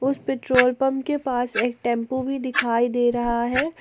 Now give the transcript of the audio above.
उस petrol pump के पास एक टेम्पू भी दिखाई दे रहा है।